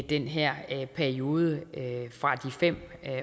den her periode fra de fem